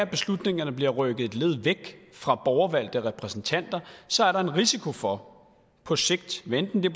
beslutningerne bliver rykket et led væk fra borgervalgte repræsentanter så er der en risiko for på sigt hvad enten det